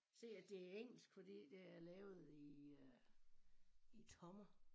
Se at det engelsk fordi det er lavet i øh i tommer